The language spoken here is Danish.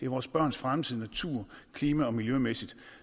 vores børns fremtid natur klima og miljømæssigt